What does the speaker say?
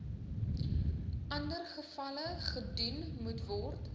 andergevalle gedoen moetword